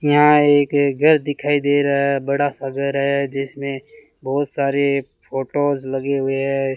यहां एक घर दिखाई दे रहा है बड़ा सा घर है जिसमें बहुत सारे फोटोज़ लगे हुए हैं।